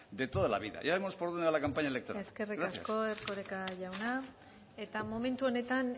de toda la vida ya vemos por dónde va la campaña electoral gracias eskerrik asko erkoreka jauna eta momentu honetan